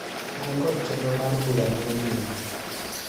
An kod chenro mar bura mane jumani.